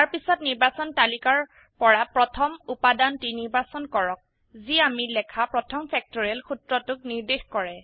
তাৰপিছত নিৰ্বাচন তালিকাৰ পৰা প্ৰথম উপাদানটি নিৰ্বাচন কৰক যি আমি লেখা প্ৰথম ফেক্টৰিয়েল সূত্ৰটোক নিৰ্দেশ কৰে